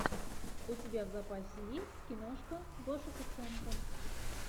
у тебя в запасе есть киношка гоша куценко